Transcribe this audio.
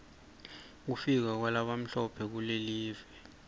kufika kwalabamhlophe kulive